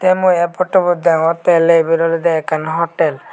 te mui ey potu bot degongotey oley iben oley ekkan hotal .